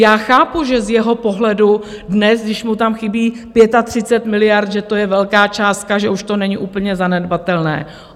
Já chápu, že z jeho pohledu dnes, když mu tam chybí 35 miliard, že to je velká částka, že už to není úplně zanedbatelné.